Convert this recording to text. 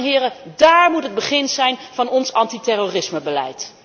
Dames en heren, dáár moet het begin zijn van ons anti terrorismebeleid!